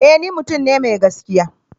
Ee! ni mutum ne mai gaskiya.